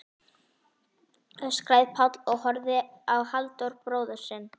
öskraði Páll og horfði á Halldór bróður sinn.